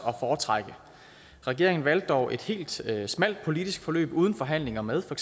at foretrække regeringen valgte dog et helt smalt politisk forløb uden forhandlinger med for